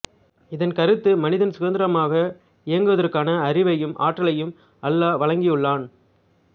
இதன் கருத்து மனிதன் சுதந்திரமாக இயங்குவதற்கான அறிவையும் ஆற்றலையும் அல்லாஹ் வழங்கியுள்ளான்